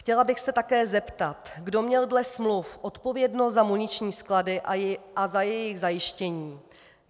Chtěla bych se také zeptat, kdo měl dle smluv odpovědnost za muniční sklady a za jejich zajištění.